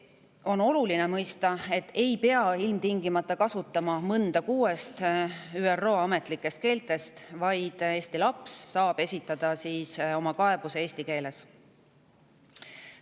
On oluline mõista, et ei pea ilmtingimata kasutama mõnda kuuest ÜRO ametlikust keelest, vaid Eesti laps saab esitada oma kaebuse eesti keeles.